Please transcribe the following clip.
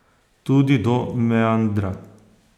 Tudi do meandra.